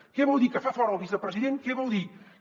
què vol dir que fa fora el vicepresident què vol dir que